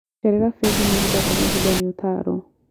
Cerera bengi mahinda kwa mahinda nĩ ũtaaro.